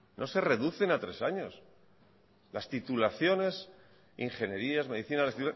no se reducen a tres años las titulaciones ingenierías medicina las